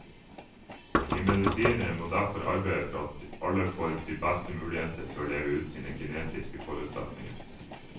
Vi medisinere må derfor arbeide for at alle får de beste muligheter til å leve ut sine genetiske forutsetninger.